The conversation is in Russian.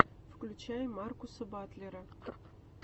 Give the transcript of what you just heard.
включай маркуса батлера